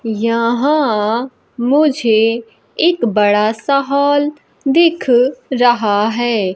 यहां मुझे एक बड़ा सा हॉल दिख रहा है।